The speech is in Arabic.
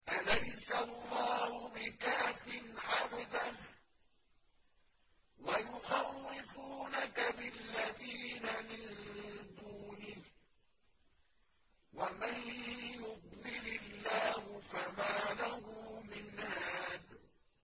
أَلَيْسَ اللَّهُ بِكَافٍ عَبْدَهُ ۖ وَيُخَوِّفُونَكَ بِالَّذِينَ مِن دُونِهِ ۚ وَمَن يُضْلِلِ اللَّهُ فَمَا لَهُ مِنْ هَادٍ